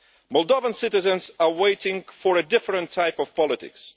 Moldovan citizens are waiting for a different type of politics.